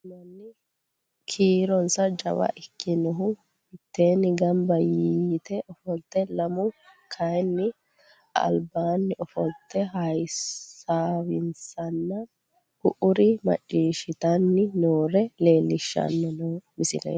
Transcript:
Kuri manni kiironsa jawa ikkinohu mitteenni gamba yite ofolte lamu kayinni albaanni ofolte hasaawissanna ku'uri macciishshitanni noore leellishshanni noo misileeti